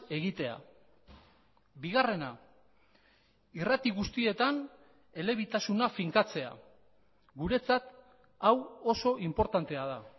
egitea bigarrena irrati guztietan elebitasuna finkatzea guretzat hau oso inportantea da